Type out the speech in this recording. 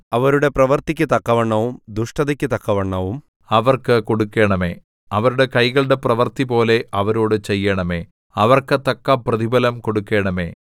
അവരുടെ പ്രവൃത്തിക്കു തക്കവണ്ണവും ദുഷ്ടതയ്ക്ക് തക്കവണ്ണവും അവർക്ക് കൊടുക്കണമേ അവരുടെ കൈകളുടെ പ്രവൃത്തിപോലെ അവരോട് ചെയ്യണമേ അവർക്ക് തക്ക പ്രതിഫലം കൊടുക്കണമേ